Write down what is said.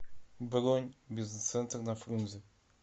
бронь бизнес центр на фрунзе